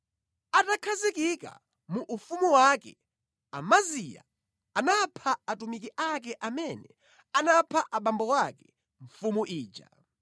Atakhazikika mu ufumu wake, Amaziya anapha atumiki ake amene anapha abambo ake, mfumu ija.